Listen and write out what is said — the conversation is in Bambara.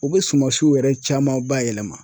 U bɛ sumansiw yɛrɛ caman bayɛlɛma.